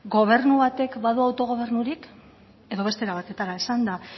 gobernu batek badu autogobernurik edo beste era batetara esanda